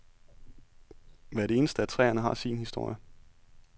Hvert eneste af træerne har sin historie.